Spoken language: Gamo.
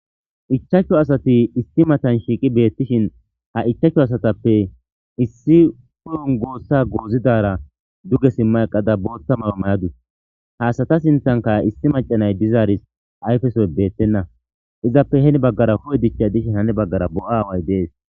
ichachchu asati issi matan shiiqi beettishin ha ichachchu asatappe issi huy7on goossa goozidara duge simma eqada bootta mayo mayadus ha asata sinthanka issi macanay dizaaris ayfesoy beettenna izappe heni baggara hu7e dichchay dishi hani baggara bo7a aaway de7es